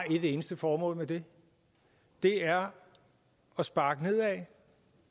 et eneste formål og det er at sparke nedad